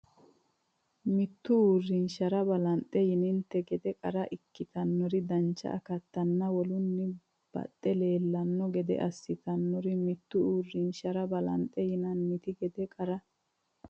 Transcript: Mittu uurrinshira balanxe yininte gede qara ikkitinori dancha akattanna wolunni baxxe leellanno gede assitannosiri Mittu uurrinshira balanxe yininte gede qara.